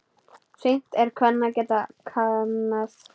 Seint er kvenna geð kannað.